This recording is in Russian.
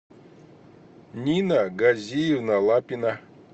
нина газиевна лапина